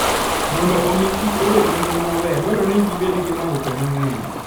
Mondo omi kich obed gi ngima maber, dwarore ni gibed gi maupe mang'eny.